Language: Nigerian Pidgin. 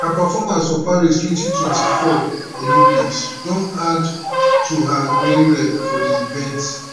her performance for paris 2024 olympics don add to her growing rep for di events